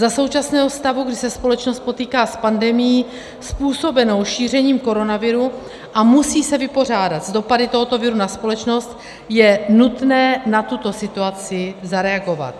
Za současného stavu, kdy se společnost potýká s pandemií způsobenou šířením koronaviru a musí se vypořádat s dopady tohoto viru na společnost, je nutné na tuto situaci zareagovat.